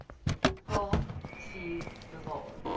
kaap vier bewaar